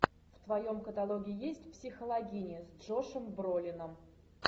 в твоем каталоге есть психологини с джошом бролином